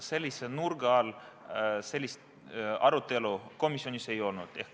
Sellise nurga alt sellist arutelu komisjonis ei olnud.